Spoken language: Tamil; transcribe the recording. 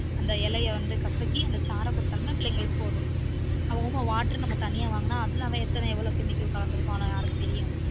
அந்த இலைய வந்து கசக்கி அந்த சாற குடுத்தால பிள்ளைங்களுக்கு போதும் oma water நு நாம்ம தனியா வாங்குனா அதுல அவன் எத்தன எவ்லொ chemical கலந்துருப்பானொ யாருக்கு தெரியும்